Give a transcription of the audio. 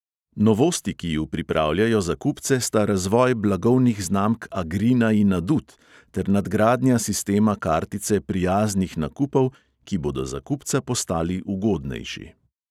Novosti, ki ju pripravljajo za kupce, sta razvoj blagovnih znamk agrina in adut ter nadgradnja sistema kartice prijaznih nakupov, ki bodo za kupca postali ugodnejši.